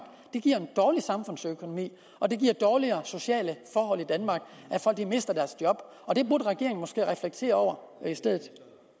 det giver en dårlig samfundsøkonomi og det giver dårligere sociale forhold i danmark at folk mister deres job og det burde regeringen måske reflektere over i stedet